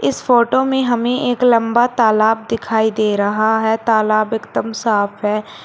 इस फोटो में हमें एक लंबा तालाब दिखाई दे रहा है तालाब एकदम साफ है।